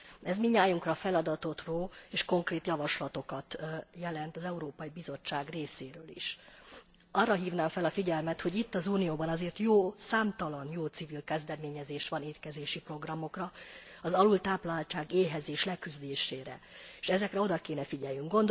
Ez mindnyájunkra feladatot ró, és konkrét javaslatokat jelent az Európai Bizottság részéről is. Arra hívnám fel a figyelmet, hogy itt, az Unióban azért számtalan jó civil kezdeményezés van étkezési programokra, az alultápláltság, éhezés leküzdésére, s ezekre oda kellene figyelnünk.